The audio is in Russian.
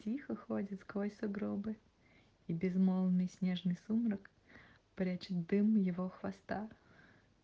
тихо ходит сквозь сугробы и безмолвный снежный сумрак прячет дым его хвоста